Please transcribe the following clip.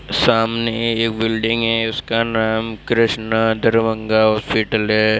सामने एक बिल्डिंग है उसका नाम कृष्णा दरभंगा हॉस्पिटल है।